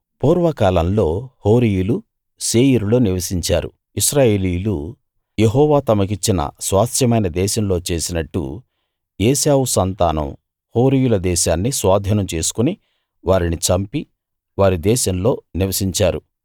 పూర్వకాలంలో హోరీయులు శేయీరులో నివసించారు ఇశ్రాయేలీయులు యెహోవా తమకిచ్చిన స్వాస్థ్యమైన దేశంలో చేసినట్టు ఏశావు సంతానం హోరీయుల దేశాన్ని స్వాధీనం చేసుకుని వారిని చంపి వారి దేశంలో నివసించారు